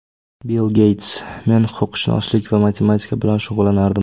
Bill Geyts: Men huquqshunoslik va matematika bilan shug‘ullanardim.